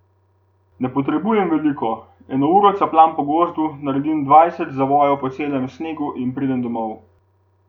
Ne potrebujem veliko, eno uro capljam po gozdu, naredim dvajset zavojev po celem snegu in pridem domov.